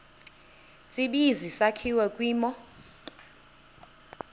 tsibizi sakhiwa kwimo